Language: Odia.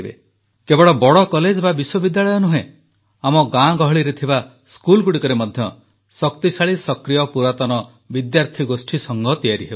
କେବଳ ବଡ଼ କଲେଜ ବା ବିଶ୍ୱବିଦ୍ୟାଳୟ ନୁହେଁ ଆମ ଗାଁଗହଳିରେ ଥିବା ସ୍କୁଲଗୁଡ଼ିକରେ ମଧ୍ୟ ଶକ୍ତିଶାଳୀ ସକ୍ରିୟ ପୁରାତନ ବିଦ୍ୟାର୍ଥୀ ଗୋଷ୍ଠୀସଂଘ ତିଆରି ହେଉ